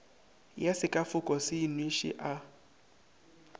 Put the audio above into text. ya sekafoko se inweše a